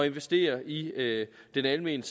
investere i den almene